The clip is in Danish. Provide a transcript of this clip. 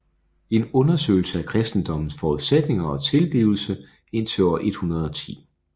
En undersøgelse af kristendommens forudsætninger og tilblivelse indtil år 110